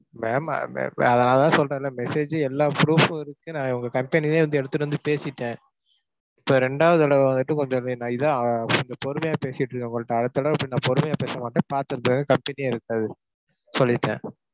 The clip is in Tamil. ma'am நான் அதான் சொல்றேன்ல message ஜூ எல்லா proof ம் இருக்கு. நான் உங்க company லயே வந்து எடுத்துட்டு வந்து பேசிட்டேன். இப்ப ரெண்டாவது தடவை வந்துட்டு கொஞ்சமே நான் இதான் அஹ் கொஞ்சம் பொறுமையா பேசிட்டு இருக்கேன் உங்கள்ட்ட. அடுத்த தடவை இப்படி நான் பொறுமையா பேசமாட்டேன் உங்க company எ இருக்காது சொல்லிட்டேன்.